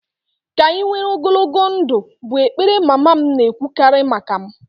Ka ị nwere ogologo ndụ' bụ ekpere mama m na-ekwukarị maka m